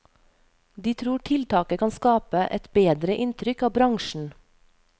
De tror tiltaket kan skape et bedre inntrykk av bransjen.